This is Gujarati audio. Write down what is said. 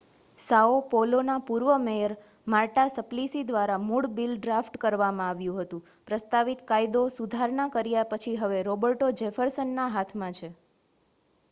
સાઓ પૌલોના પૂર્વ મેયર માર્ટા સપ્લિસી દ્વારા મૂળ બિલ ડ્રાફ્ટ કરવામાં આવ્યું હતું પ્રસ્તાવિત કાયદો સુધારના કર્યા પછી હવે રૉબર્ટો જેફર્સનના હાથમાં છે